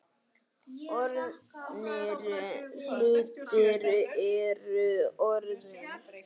Orðnir hlutir eru orðnir.